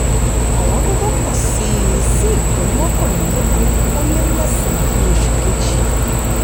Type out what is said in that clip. ọ̀wọ́n gógó pọ̀ síi sí ipín mọ́kànlélógún o lé mẹ́san ní oṣù kejì.